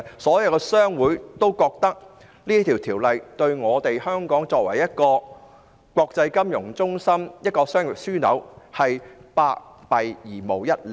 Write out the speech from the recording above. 所有商會都認為，這項"送中"法案對香港作為國際金融中心及商業樞紐是百害而無一利。